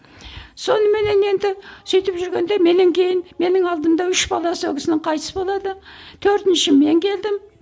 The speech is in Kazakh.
соныменен енді сөйтіп жүргенде менен кейін менің алдымда үш баласы ол кісінің қайтыс болады төртінші мен келдім